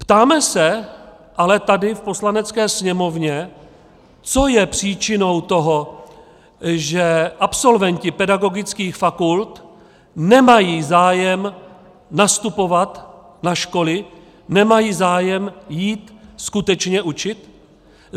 Ptáme se ale tady v Poslanecké sněmovně, co je příčinou toho, že absolventi pedagogických fakult nemají zájem nastupovat na školy, nemají zájem jít skutečně učit?